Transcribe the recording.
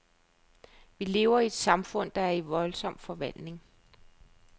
Vi lever i et samfund, der er i voldsom forvandling.